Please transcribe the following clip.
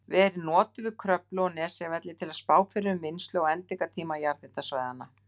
verið notuð við Kröflu og Nesjavelli til að spá fyrir um vinnslu á endingartíma jarðhitasvæðanna.